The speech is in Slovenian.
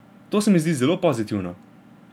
To se mi zdi zelo pozitivno.